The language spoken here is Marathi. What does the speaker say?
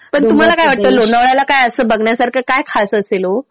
पण तुम्हाला काय वाटतं लोणावळ्याला काय असं बघण्यासारखं काय खास असेल हो?